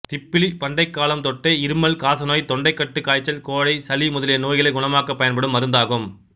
திப்பிலி பண்டைக் காலம் தொட்டே இருமல் காசநோய் தொண்டைக்கட்டு காய்ச்சல் கோழை சளி முதலிய நோய்களைக் குணமாக்கப் பயன்படும் மருந்தாகும்